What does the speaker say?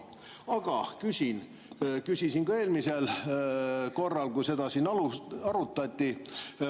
Aga küsin, nagu küsisin ka eelmisel korral, kui seda arutati.